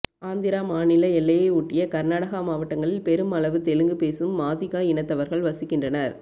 ஆந்திரா மாநில எல்லையை ஒட்டிய கர்நாடகா மாவட்டகளில் பெரும் அளவு தெலுங்கு பேசும் மாதிகா இனத்தவர்கள் வசிக்கின்றனர்